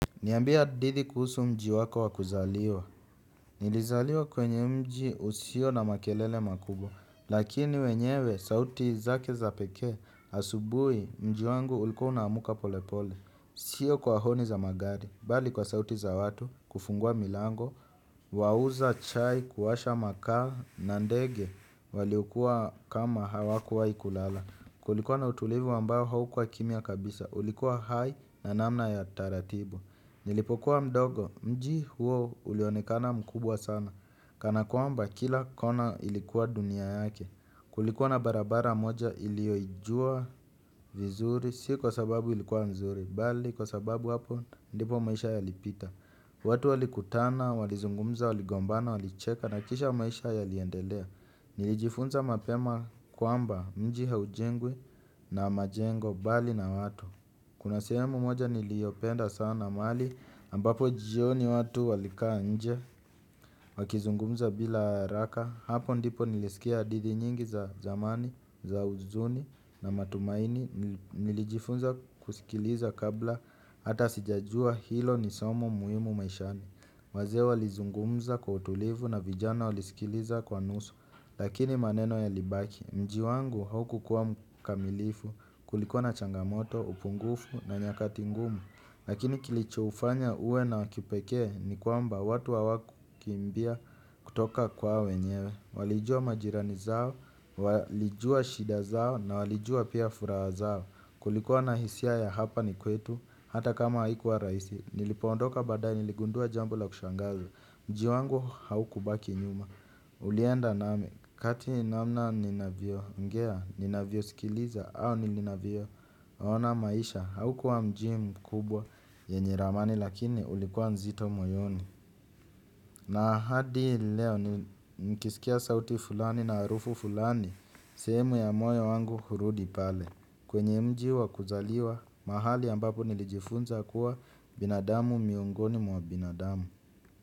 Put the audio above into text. Niambie hadidhi kuhusu mji wako wa kuzaliwa. Nilizaliwa kwenye mji usio na makelele makubwa. Lakini wenyewe, sauti zake za pekee, asubuhi mji wangu ulikuwa unamka polepole. Sio kwa honi za magari, bali kwa sauti za watu, kufungua milango, wauza chai, kuwasha makaa, na ndege, waliokua kama hawakuwai kulala. Kulikuwa na utulivu ambayo haukua kimya kabisa, ulikuwa hai na namna ya taratibu. Nilipokuwa mdogo, mji huo ulionekana mkubwa sana. Kana kwamba kila kona ilikuwa dunia yake. Kulikuwa na barabara moja iliyoijua vizuri. Si kwa sababu ilikuwa mzuri, bali kwa sababu hapo ndipo maisha yalipita. Watu walikutana, walizungumza, waligombana, walicheka. Na kisha maisha yaliendelea. Nilijifunza mapema kwamba mji haujengwi na majengo bali na watu. Kuna sehemu moja niliopenda sana mali ambapo jijioni watu walikaa nje wakizungumza bila haraka hapo ndipo nilisikia hadidhi nyingi za zamani, za uzuni na matumaini nilijifunza kusikiliza kabla hata sijajua hilo nisomo muhimu maishani. Wazee walizungumza kwa utulivu na vijana walisikiliza kwa nusu. Lakini maneno yalibaki. Mji wangu haukukuwa mkamilifu kulikuwa na changamoto, upungufu na nyakati ngumu. Lakini kilichoufanya uwe na wakipekee ni kwamba watu hawakukimbia kutoka kwa wenyewe. Walijua majirani zao, walijua shida zao na walijua pia furaha zao. Kulikuwa na hisia ya hapa ni kwetu hata kama haikuwa rahisi. Nilipoondoka badaye niligundua jambo la kushangaza. Mji wangu haukubaki nyuma. Ulienda nami kati namna ninavyo ongea ninavyo sikiliza. Au nilinavyo ona maisha haukua mji mkubwa yenye ramani lakini ulikuwa nzito moyoni na hadi leo nikisikia sauti fulani na harufu fulani sehemu ya moyo wangu hurudi pale kwenye mji wa kuzaliwa mahali ambapo nilijifunza kuwa binadamu miongoni mwa binadamu.